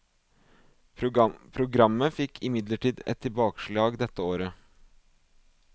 Programmet fikk imidlertid et tilbakeslag dette året.